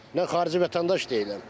Nə xarici vətəndaş deyiləm.